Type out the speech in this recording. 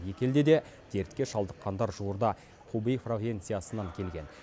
екі елде де дертке шалдыққандар жуырда хубэй провинциясынан келген